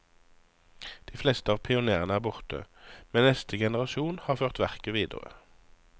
De fleste av pionerene er borte, men neste generasjon har ført verket videre.